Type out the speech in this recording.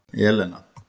Elena